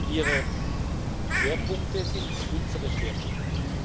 Ihre Schwerpunkte sind unsere Schwerpunkte.